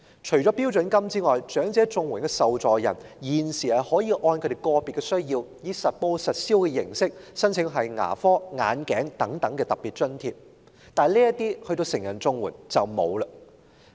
除了標準金額外，長者綜援受助人現時可以按其個別需要，以實報實銷的形式申請牙科、眼鏡等特別津貼，但成人綜援則沒有相關津貼。